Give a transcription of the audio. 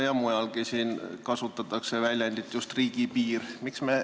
Ja mujalgi kasutatakse just väljendit "riigipiir".